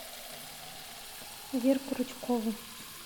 верку рычкову